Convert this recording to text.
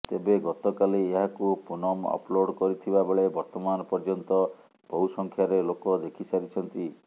ତେବେ ଗତକାଲି ଏହାକୁ ପୁନମ୍ ଅପଲୋଡ଼ କରିଥିବା ବେଳେ ବର୍ତ୍ତମାନ ପର୍ୟ୍ୟନ୍ତ ବହୁ ସଂଖ୍ୟାରେ ଲୋକ ଦେଖିସାରିଛନ୍ତି